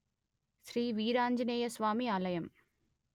శ్రీ వీరాంజనేయ స్వామి ఆలయం